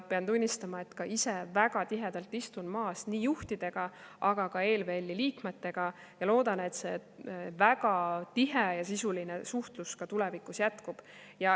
Pean tunnistama, et istun ka ise väga tihedalt koos juhtidega, aga ka ELVL-i liikmetega, ja loodan, et see väga tihe ja sisuline suhtlus tulevikus jätkub.